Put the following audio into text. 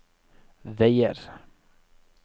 veier